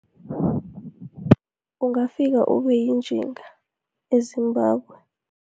Ungafika ube yinjinga e-Zimbabwe.